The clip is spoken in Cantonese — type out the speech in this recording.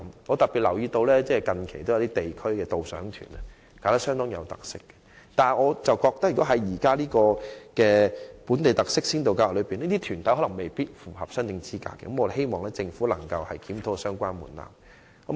我特別留意到近期有些極具特色的地區導賞團，但主辦團體卻未必符合這項先導計劃的申請資格，所以希望政府能檢討相關門檻。